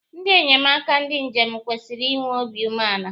Ndị enyemaka ndị njem kwesiri inwe obi umeala